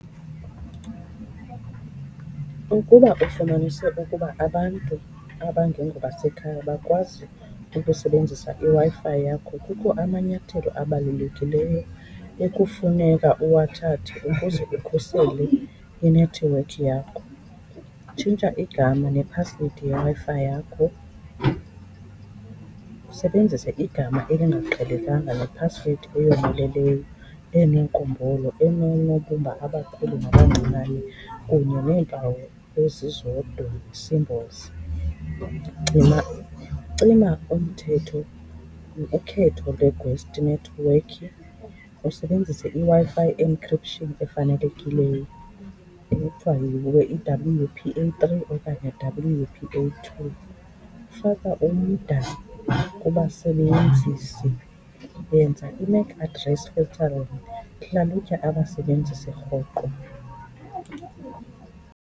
Ukuba ufumanise ukuba abantu abangengobasekhaya bakwazi ukusebenzisa iWi-Fi yakho, kukho amanyathelo abalulekileyo ekufuneka uwathathe ukuze ukhusele inethiwekhi yakho. Tshintsha igama nephasiwedi yeWi-Fi yakho usebenzise igama elingaqhelekanga nephasiwedi eyomeleleyo eneenkumbulo, enoonobumba abakhulu nabancinane kunye neempawu ezizodwa, symbols. Cima umthetho ukhetho lwe-ghost network, usebenzise iWi-Fi encryption efanelekileyo ekuthiwa yi-W_P_A three okanye W_P_A two. Faka umda kubasebenzisi, yenza i-net address profile, hlalutya abasebenzisi rhoqo.